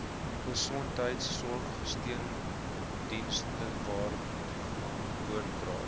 gesondheidsorg steundienstewaarvan oordragte